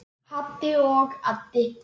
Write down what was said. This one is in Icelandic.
Haddi og Addi.